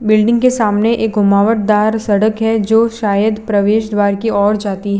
Building के सामने एक घुमावट दार सड़क है जो शायद प्रवेश द्वार की ओर जाती हैं।